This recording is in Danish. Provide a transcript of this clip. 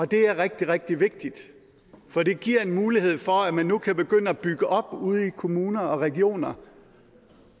det er rigtig rigtig vigtigt for det giver en mulighed for at man nu kan begynde at bygge op ude i kommunerne og regionerne